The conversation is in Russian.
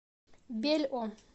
бельо